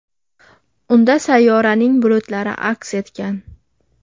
Unda sayyoraning bulutlari aks etgan.